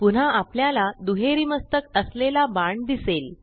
पुन्हा आपल्याला दुहेरी मस्तक असलेला बाण दिसेल